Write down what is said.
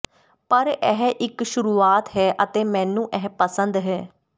ਪਰ ਇਹ ਇੱਕ ਸ਼ੁਰੂਆਤ ਹੈ ਅਤੇ ਮੈਨੂੰ ਇਹ ਪਸੰਦ ਹੈ